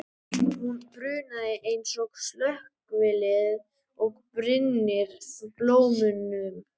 Hún brunar eins og slökkvilið og brynnir blómunum.